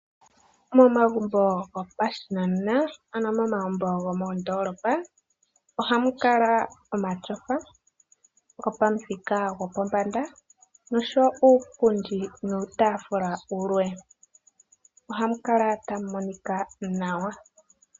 Momagumbo gopashinanena, ano momagumbo gomoondoolopa, ohamu kala omatyofa gopamuthika gwopombanda, noshowo uupundi nuutafula wulwe. Ohamu kala tamu monika nawa.